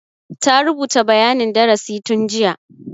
Ta rubuta bayanin darasi tun jiya.